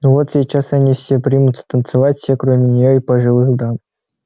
ну вот сейчас они все примутся танцевать все кроме нее и пожилых дам